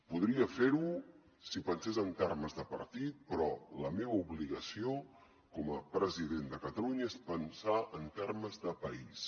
podria fer ho si pensés en termes de partit però la meva obligació com a president de catalunya és pensar en termes de país